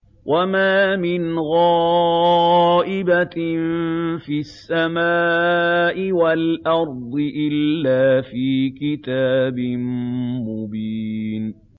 وَمَا مِنْ غَائِبَةٍ فِي السَّمَاءِ وَالْأَرْضِ إِلَّا فِي كِتَابٍ مُّبِينٍ